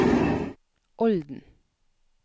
Olden